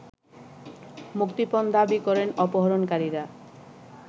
মুক্তিপণ দাবি করেন অপহরণকারীরা